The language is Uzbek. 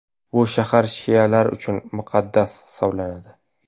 Bu shahar shialar uchun muqaddas hisoblanadi.